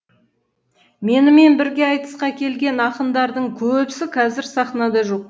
менімен бірге айтысқа келген ақындардың көбісі қазір сахнада жоқ